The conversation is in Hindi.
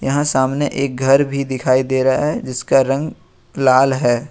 यहां सामने एक घर भी दिखाई दे रहा है जिसका रंग लाल है।